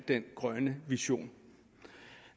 den grønne vision